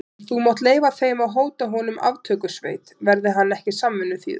En þú mátt leyfa þeim að hóta honum aftökusveit, verði hann ekki samvinnuþýður.